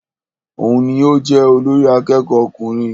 Òun ní o jẹ olórí àkẹ́kọ̀ọ ọkùnrin.